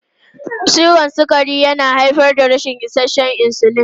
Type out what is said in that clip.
Ciwon sukari yana haifar da rashin isasshen insulin.